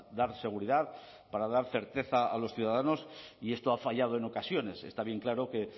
dar seguridad para dar certeza a los ciudadanos y esto ha fallado en ocasiones está bien claro que